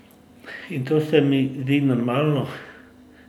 In to se mi zdi normalno.